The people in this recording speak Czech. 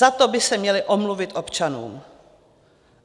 Za to by se měli omluvit občanům.